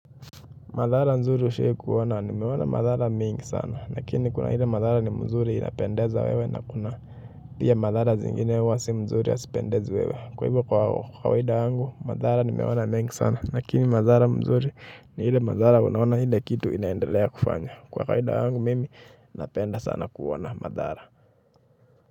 Madhara nzuri ushawahi kuona, nimeona madhara mingi sana lakini kuna ile madhara ni mzuri inapendeza wewe na kuna pia madhara zingine huwa sio nzuri hazipendezi wewe, kwa hivyo kwa kawaida yangu madhara nimeona mengi sana lakini madhara mzuri ni ile madhara unaona ile kitu unaendelea kufanya, kwa kawaida yangu napenda kuona sana madhara.